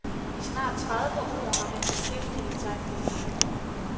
I snart tredive år har han beskæftiget sig med vin.